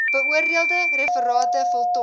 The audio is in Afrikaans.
beoordeelde referate voltooi